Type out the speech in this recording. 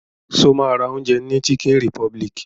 Ṣo ma ra oúnjẹ ní chicken republic?